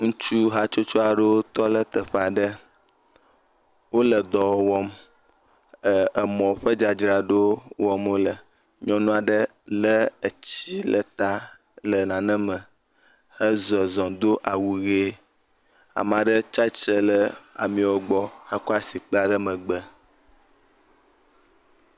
Ŋutsu hatsotso aɖewo tɔ ɖe teƒe aɖe. Wole dɔ wɔm, emɔ ƒe dzadzraɖo wɔm wole. Nyɔnu aɖe lé etsi le ta le nane me, he zɔzɔm, do awu ʋe. Ame aɖe tsatsitre ɖe ameawo gbɔ hekɔ asi kpla ɖe megbe.